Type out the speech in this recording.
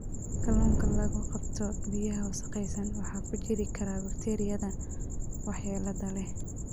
Kalluunka lagu qabto biyaha wasakhaysan waxa ku jiri kara bakteeriyada waxyeellada leh.